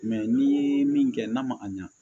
n'i ye min kɛ n'a ma a ɲɛ